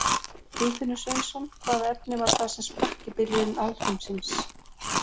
Guðfinnur Sveinsson Hvaða efni var það sem sprakk í byrjun alheimsins?